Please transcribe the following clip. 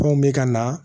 Anw bɛ ka na